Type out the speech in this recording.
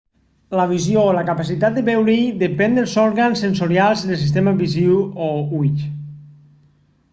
la visió o la capacitat de veure-hi depèn dels òrgans sensorials del sistema visiu o ulls